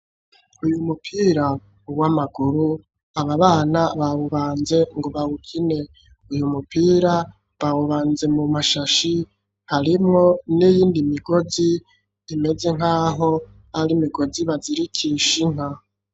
Uyu mupira uw'amaguru ababana bawubanze ngo bawukine uyu mupira bawubanze mu mashashi harimwo n'iyindi migozi imeze nkaho ari migozi bazirikisha inka.